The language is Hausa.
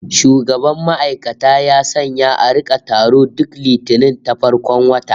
Shugaban ma'aikata ya sanya a rika taro duk Litinin ta farkon wata